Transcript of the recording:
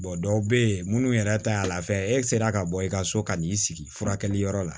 dɔw bɛ yen minnu yɛrɛ ta y'a la fɛ e sera ka bɔ i ka so ka n'i sigi furakɛli yɔrɔ la